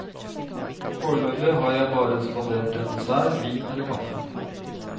Foreløpig har jeg bare spandert en dessert, vin eller kaffe.